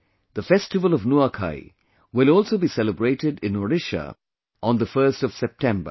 The festival of Nuakhai will also be celebrated in Odisha on the 1st of September